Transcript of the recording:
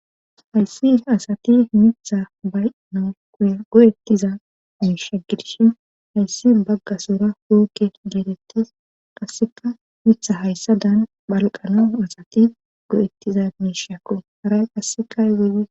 Hayssi asati mitha bay noouya go'ettiza miisha gidishi hayssi bagga sura wookke geetettes qasseka mitha hayssa daan bhalqano asati go'ettiza miishakko haray qassekaywuyi.